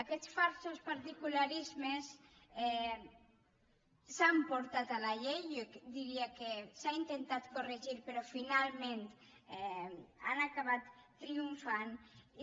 aquests falsos particularismes s’han portat a la llei jo diria que s’han intentat corregir però finalment han acabat triomfant i